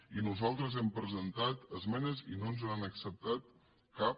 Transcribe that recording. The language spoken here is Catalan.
i nosaltres hem presentat esmenes i no ens n’han acceptat cap